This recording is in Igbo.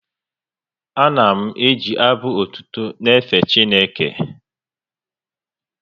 Ana m eji abụ otuto na-efe Chineke